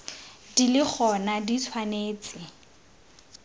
di le gona di tshwanetse